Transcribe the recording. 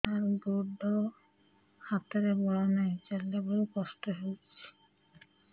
ସାର ଗୋଡୋ ହାତରେ ବଳ ନାହିଁ ଚାଲିଲା ବେଳକୁ କଷ୍ଟ ହେଉଛି